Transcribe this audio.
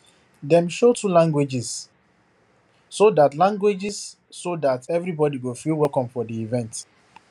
dem show two languages so that languages so that everybody go feel welcome for the event